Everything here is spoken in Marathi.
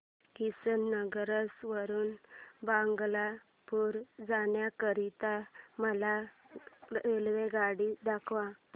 किशनगंज वरून भागलपुर जाण्या करीता मला रेल्वेगाडी दाखवा